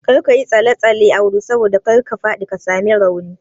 Kar kayi tsalle tsalle Audu saboda kar ka faɗi ka sami rauni